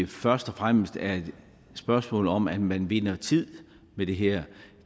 først og fremmest er et spørgsmål om at man vinder tid med det her